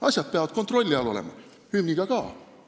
Asjad peavad kontrolli all olema, ka hümni puhul.